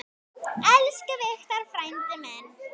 Elsku Victor frændi minn.